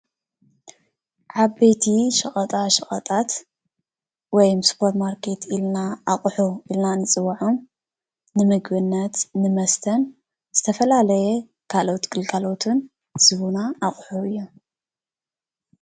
ዓበይቲ ሸቀጣ ሸቀጣት ወይ ሱፐርማርኬት ድማ ኣቅሑ ኢልና እንፅውዖም ንምግብነት ንመስተን ዝተፈላለየን ካልኦት ግልጋሎት ዝህቡና ዓይነት ኣቅሑ እዮም፡፡